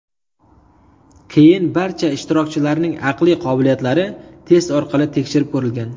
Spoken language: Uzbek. Keyin barcha ishtirokchilarning aqliy qobiliyatlari test orqali tekshirib ko‘rilgan.